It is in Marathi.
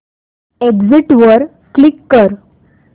एग्झिट वर क्लिक कर